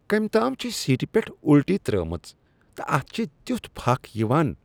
کٔمۍ تام چھےٚ سیٖٹہ پٮ۪ٹھ الٹی ترٛٲومٕژ تہٕ اتھ چھ تیتھ پھکھ یوان۔